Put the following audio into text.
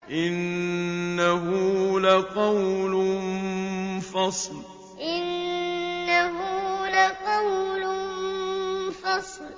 إِنَّهُ لَقَوْلٌ فَصْلٌ إِنَّهُ لَقَوْلٌ فَصْلٌ